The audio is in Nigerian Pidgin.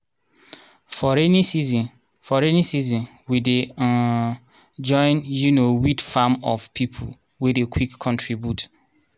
for rainy season for rainy season we dey um join um weed farm of people wey dey quick contribute. um